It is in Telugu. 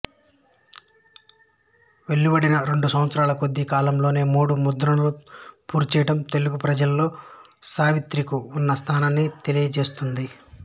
వెలువడిన రెండు సంవత్సరాల కొద్ది కాలంలోనే మూడు ముద్రణలు పూర్తిచేయడం తెలుగు ప్రజలలో సావిత్రికు ఉన్న స్థానాన్ని తెలియజేస్తుంది